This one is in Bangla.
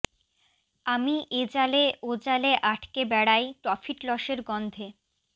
আমি এ জালে ও জালে আটকে বেড়াই প্রফিট লসের গন্ধে